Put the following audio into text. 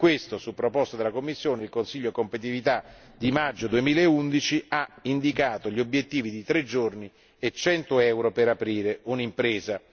Per questo, su proposta della Commissione, il Consiglio Competitività del maggio 2011 ha indicato gli obiettivi di tre giorni e 100 euro per aprire un'impresa.